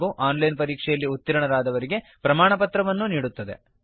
ಹಾಗೂ online ಪರೀಕ್ಷೆಯಲ್ಲಿ ಉತ್ತೀರ್ಣರಾದವರಿಗೆ ಪ್ರಮಾಣಪತ್ರವನ್ನು ಕೊಡುತ್ತದೆ